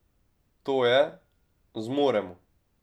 To je: "Zmoremo".